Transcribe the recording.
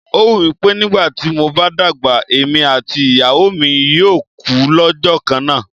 Ó wù mí pé nígbà tí mo bá dàgbà, èmi àti ìyàwó mi yóò kú lọ́jọ́ kan náà.